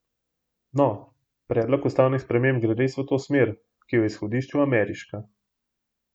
No, predlog ustavnih sprememb gre res v to smer, ki je v izhodišču ameriška.